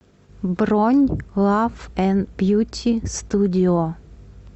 бронь лав энд бьюти студио